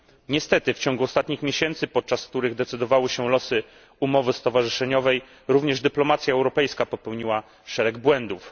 Niestety w ciągu ostatnich miesięcy, podczas których decydowały się losy umowy stowarzyszeniowej, również dyplomacja europejska popełniła szereg błędów.